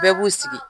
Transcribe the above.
Bɛɛ b'u sigi